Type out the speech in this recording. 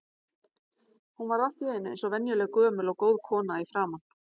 Hún varð allt í einu eins og venjuleg gömul og góð kona í framan.